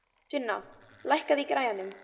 Sunna, lækkaðu í græjunum.